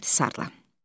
İxtisarla.